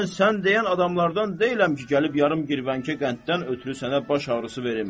Mən sən deyən adamlardan deyiləm ki, gəlib yarım girvənkə qənddən ötrü sənə baş ağrısı verim.